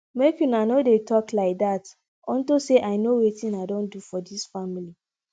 make una no dey talk like dat unto say i know wetin i don do for dis family